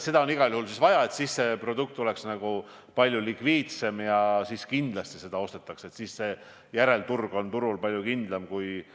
Miks on teie meelest nii, et erakapitalil põhinev põlevkivitööstus, nii Alexela kui ka VKG soovivad saada riigi käest toetusraha ning on loobunud edasisest investeerimisest põlevkivi töötlemise võimalustesse?